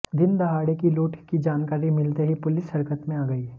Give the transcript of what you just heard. दिनदहाड़े की लूट की जानकारी मिलते ही पुलिस हरकत में आ गयी